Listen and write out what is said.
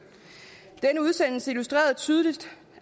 og denne udsendelse illustrerede tydeligt